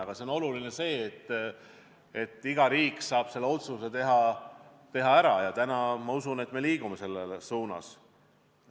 Aga oluline on see, et iga riik saab selle otsuse ära teha, ja täna, ma usun, me liigume selles suunas.